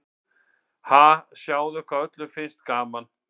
Ha, sjáðu hvað öllum finnst gaman.